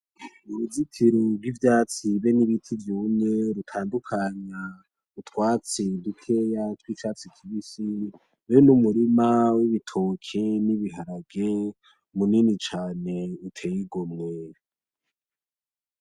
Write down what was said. N'uruzitiro gw'ivyatsi be n'ibiti vyumye rutandukanya utwatsi dukeya tw'icatsi kibisi be n'umurima w'ibitoke n'ibiharage munini uteye igomwe.